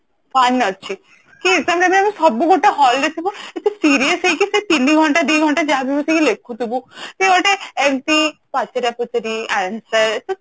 fun ଅଛି କି exam time ରେ ଆମେ ସବୁ ଗୋଟେ hall ରେ ଥିବ ଏତେ serious ହେଇକି ସେ ତିନି ଘଣ୍ଟା ଦି ଘଣ୍ଟା ଯାହା ବି ବସି କି ଲେଖୁଥିବୁ ସେ ଗୋଟେ ଏମିତି ପଚାରା ପଚାରି answer